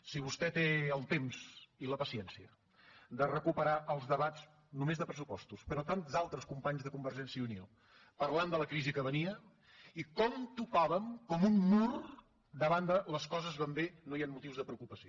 si vostè té el temps i la paciència de recuperar els debats només de pressupostos però de tants altres companys de convergència i unió parlant de la crisi que venia i com topàvem amb un mur davant de les coses van bé no hi han motius de preocupació